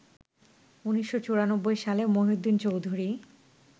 ১৯৯৪ সালে মহিউদ্দিন চৌধুরী